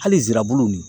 Hali zirabulu nin